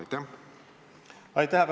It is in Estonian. Aitäh!